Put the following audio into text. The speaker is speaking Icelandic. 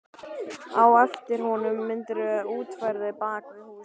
Á eftir voru myndirnar útfærðar bak við hús.